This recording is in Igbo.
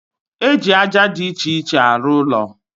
E ji aja dị iche iche arụ ụlọ